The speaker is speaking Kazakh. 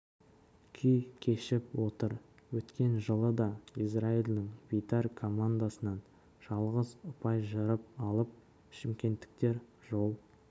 күй кешіп отыр өткен жылы да израильдің бейтар командасынан жалғыз ұпай жырып алып шымкенттіктер жол